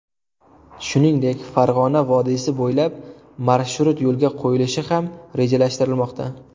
Shuningdek, Farg‘ona vodiysi bo‘ylab marshrut yo‘lga qo‘yilishi ham rejalashtirilmoqda.